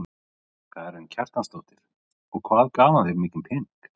Karen Kjartansdóttir: Og hvað gaf hann þér mikinn pening?